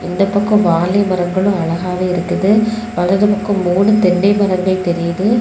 இந்த பக்கம் வாழை மரங்களும் அழகாகவே இருக்குது வலது பக்கம் மூணு தென்னை மரங்கள் தெரியுது.